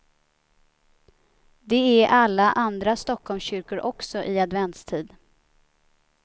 Det är alla andra stockholmskyrkor också i adventstid.